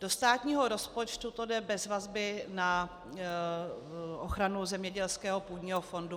Do státního rozpočtu to jde bez vazby na ochranu zemědělského půdního fondu.